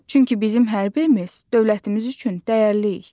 Çünki bizim hər birimiz dövlətimiz üçün dəyərliyik.